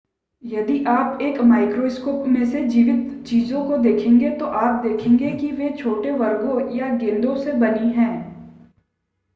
यदि आप एक माइक्रोस्कोप में से जीवित चीजों को देखेंगे तो आप देखेंगे कि वे छोटे वर्गों या गेंदों से बनी हैं